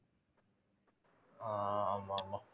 ஆஹ் ஆமா ஆமா